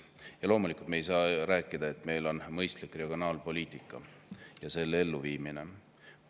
Ja loomulikult, me ei saa rääkida sellest, et meil on mõistlik regionaalpoliitika ja seda viiakse ka ellu.